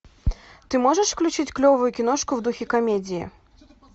ты можешь включить клевую киношку в духе комедии